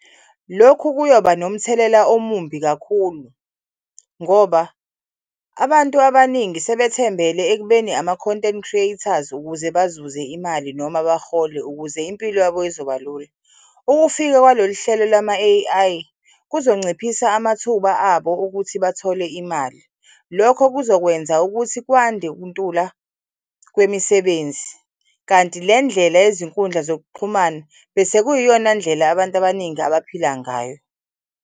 Lokhu kuyoba nomthelela omumbi kakhulu ngoba abantu abaningi sebethembele ekubeni ama-content creators ukuze bazuze imali noma bahole ukuze impilo yabo izoba lula. Ukufika kwalolu hlelo lama-A_I kuzonciphisa amathuba abo ukuthi bathole imali. Lokho kuzokwenza ukuthi kwande ukuntula kwemisebenzi, kanti le ndlela yezinkundla zokuxhumana bese kuyiyona ndlela abantu abaningi abaphila ngayo.